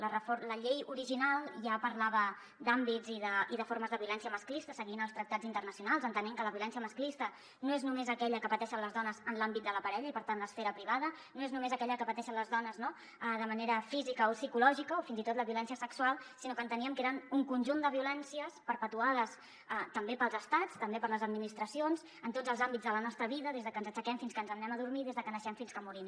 la llei original ja parlava d’àmbits i de formes de violència masclista seguint els tractats internacionals entenent que la violència masclista no és només aquella que pateixen les dones en l’àmbit de la parella i per tant l’esfera privada no és només aquella que pateixen les dones no de manera física o psicològica o fins i tot la violència sexual sinó que enteníem que eren un conjunt de violències perpetrades també pels estats també per les administracions en tots els àmbits de la nostra vida des que ens aixequem fins que ens n’anem a dormir des que naixem fins que morim